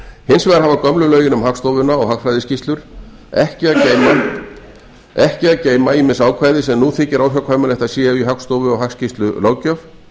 hins vegar hafa gömlu lögin um hagstofuna og hagfræðiskýrslur ekki að geyma ýmis ákvæði sem nú þykir óhjákvæmilegt að séu í hagstofu og hagskýrslulöggjöf